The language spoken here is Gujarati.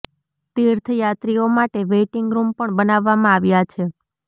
તીર્થ યાત્રીઓ માટે વેઇટિંગ રુમ પણ બનાવવામાં આવ્યા છે